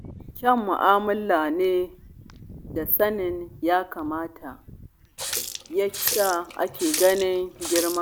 Kyaun mu'amala da sanin ya kamata ya sa ake ganin girman